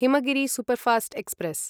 Himgiri superfast express